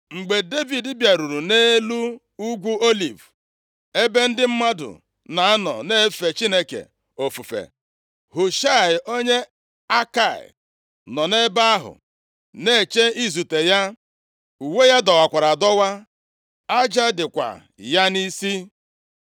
Mgbe Devid bịaruru nʼelu Ugwu Oliv, ebe ndị mmadụ na-anọ na-efe Chineke ofufe, Hushaị, onye Akai + 15:32 Ndị Juu na ndị Akai nwere ka ha si bụrụ nwanne, e dere nke a nʼakwụkwọ. \+xt Jos 16:2\+xt* nọ nʼebe ahụ na-eche izute ya. Uwe ya dọwakwara adọwa, aja dịkwa ya nʼisi.